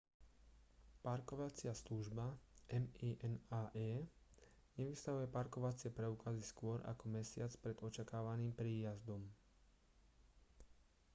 parkovacia služba minae nevystavuje parkovacie preukazy skôr ako mesiac pred očakávaným príjazdom